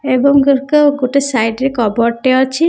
ଏବଂ ଘରକୁ ଗୋଟେ ସାଇଟ ରେ କପବୋର୍ଡ ଟେ ଅଛି ।